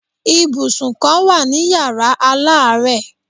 Ibùsùn kan wà ní Yàrá aláàárẹ̀.